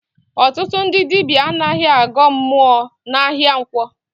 Ọtụtụ ndị dibịa anaghị agọ mmụọ n'ahịa nkwọ